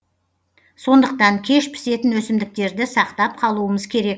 сондықтан кеш пісетін өсімдіктерді сақтап қалуымыз керек